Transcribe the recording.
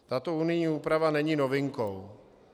Tato unijní úprava není novinkou.